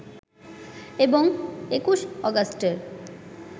এবং ২১ অগাস্টের